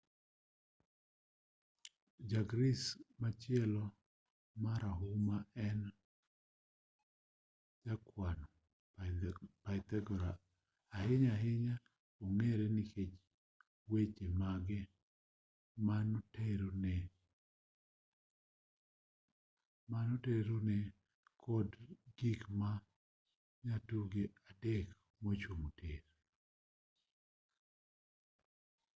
ja-greece machielo marahuma en jakwano pythagora ahinya ahinya ong'ere nikech weche mage manotenore kod gik ma nyatunge adek mochung' tir